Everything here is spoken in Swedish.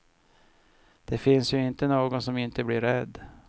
Det finns ju inte någon som inte blir rädd.